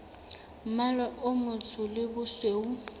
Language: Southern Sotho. mmala o motsho le bosweu